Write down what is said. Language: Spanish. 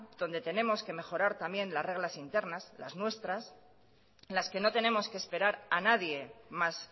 donde tenemos que mejorar también las reglas internas las nuestras las que no tenemos que esperar a nadie más